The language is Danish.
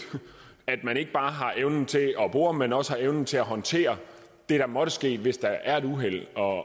at man ikke bare har evnen til at bore men også evnen til at håndtere det der måtte ske hvis der er et uheld og